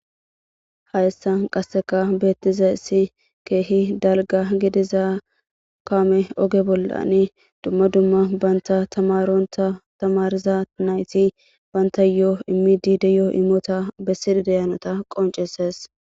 Hayssa qasseka beettize isi keehi dalga gidiza kaame oge bollani dumma dumma banta tamaronta tamariza nayti banta yo'o immidideyo imota bessidi dayanota qonceses.